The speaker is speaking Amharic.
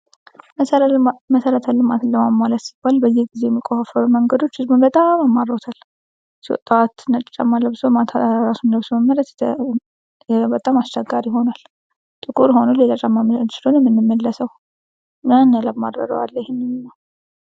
መሰረተ ልማትን ለማሟላት ሲባል በየጊዜው የሚቆፋፈሩ መንገዶች ህዝቡን በጣም አማረውታል ።ጥዋት ነጭ ጫማ ለብሶ ወቶ ማታ እንደዛው መመለስ በጣም ከባድ ሆኗል። ጥቁር ወይም ሌላ ጫማ መስሎ ነው የምንመለሰው።